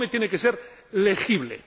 El informe tiene que ser legible.